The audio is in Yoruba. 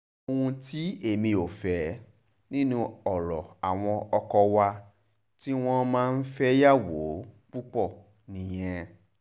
ohun tí èmi ò fẹ́ nínú ọ̀rọ̀ àwọn ọkọ wa tí wọ́n máa ń fẹ́yàwó púpọ̀ nìyẹn